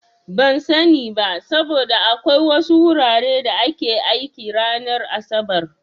Ban sani ba, saboda akwai wasu wuraren da ke aiki ranar asabar.